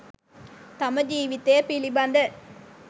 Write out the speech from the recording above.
තම ජීවිතය පිළිබඳ